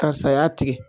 Karisa y'a tigɛ